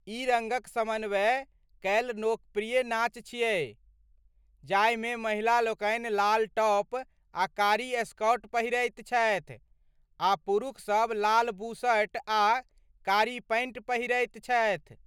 ई रङ्गक समन्वय कयल लोकप्रिय नाच छियै जाहिमे महिला लोकनि लाल टॉप आ कारी स्कर्ट पहिरैत छथि आ पुरूख सब लाल बुशर्ट आ कारी पैंट पहिरैत छथि।